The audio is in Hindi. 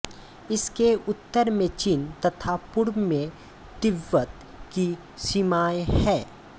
इसके उत्तर में चीन तथा पूर्व में तिब्बत की सीमाएँ हैं